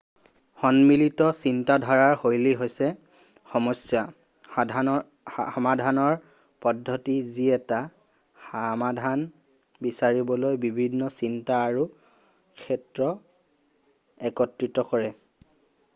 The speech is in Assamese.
সন্মিলিত চিন্তাধাৰাৰ শৈলী হৈছে সমস্যা সমাধানৰ পদ্ধতি যি এটা সমাধান বিচাৰিবলৈ বিভিন্ন চিন্তা আৰু ক্ষেত্ৰ একত্ৰিত কৰে